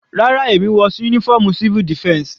Rárá, èmi wọ uniform civil defense.